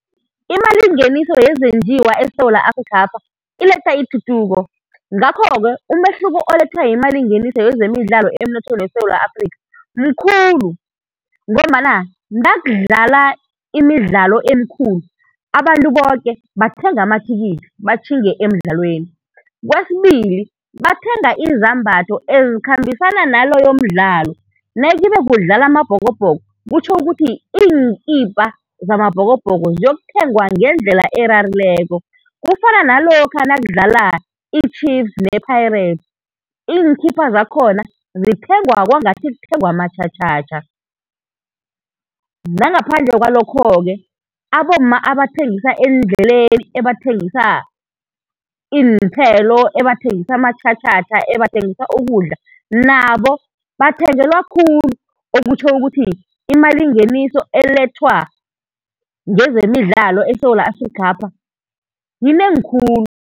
Imalingeniso yezenjiwa eSewula Afrikhapha iletha ituthuko. Ngakho-ke umehluko olethwa yimalingeniso yezemidlalo emnothweni weSewula Afrikha mkhulu ngombana nakudlala imidlalo emikhulu abantu boke bathenga amathikithi batjhinge emdlalweni. Kwesibili bathenga izambatho ezikhambisana naloyo mdlalo, nayikibe kudlala AmaBhokobhoko kutjho ukuthi iinkipa zamaBhokobhoko ziyokuthengwa ngendlela erarileko. Kufana nalokha nakudlala i-Chiefs ne-Pirates, iinkipa zakhona zithengwa kwangathi kuthengwa amatjhatjhatjha. Nangaphandle kwalokho-ke, abomma abathengisa eendleleni ebathengisa iinthelo, ebathengisa amatjhatjha, ebathengisa ukudla, nabo bathengelwa khulu ekutjho ukuthi imalingeniso elethwa ngezemidlalo eSewula Afrikhapha yinengi khulu.